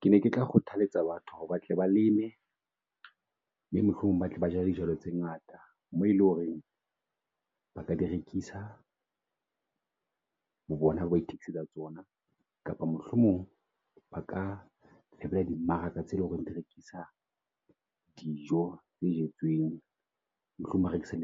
Ke ne ke tla kgothaletsa batho ba tle ba leme, mohlomong ba tle ba jale dijalo tse ngata mo eleng hore ba ka di rekisa bo bona, ba itokisetsa tsona kapa mohlomong ba di ka di beha ho di mmaraka tse leng hore di rekisa dijo tse jetsweng. Mohlomong ho rekisa